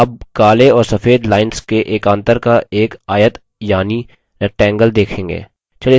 अब आप काले और सफेद lines के एकान्तर का एक आयत यानि rectangle देखेंगे